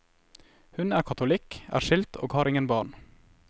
Hun er katolikk, er skilt og har ingen barn.